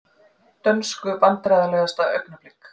Dönsku Vandræðalegasta augnablik?